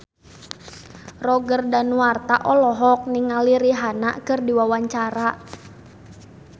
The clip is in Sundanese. Roger Danuarta olohok ningali Rihanna keur diwawancara